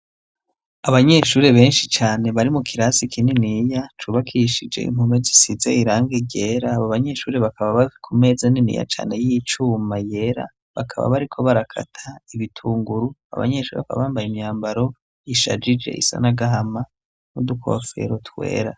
abanyeshure benshi cane bari mu kirasi kininiya cubakishije impome zisize irangi ryera abo banyeshure bakaba bari ku meza niniya cane y'icuma yera bakaba bariko barakata ibitunguru abanyeshuri bakaba bambaye imyambaro ishajije isanagahama n'udukofero twera